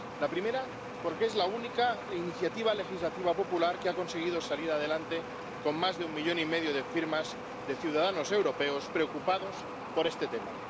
La primera, porque es la única iniciativa popular que ha conseguido salir adelante con más de un millón y medio de firmas de ciudadanos europeos, preocupados por este tema.